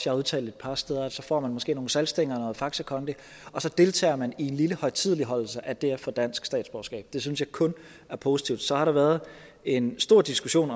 har udtalt et par steder at så får man måske nogle saltstænger og noget faxe kondi og så deltager man i en lille højtideligholdelse af det at få dansk statsborgerskab det synes jeg kun er positivt så har der været en stor diskussion